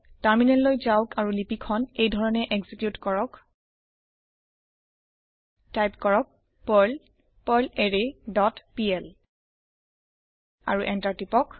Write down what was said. terminal যাওক আৰু লিপি খন এইধৰণে এক্সিকিউত কৰক টাইপ কৰক পাৰ্ল পাৰ্লাৰৰে ডট পিএল আৰু এন্টাৰ টিপক